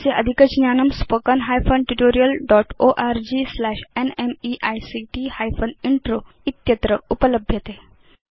अस्य अधिकज्ञानम् spoken hyphen tutorial dotओर्ग स्लैश न्मेइक्ट हाइफेन इन्त्रो इत्यत्र उपलभ्यते